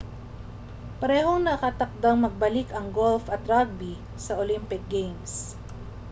parehong nakatakdang magbalik ang golf at rugby sa olympic games